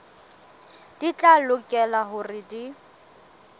di tla lokela hore di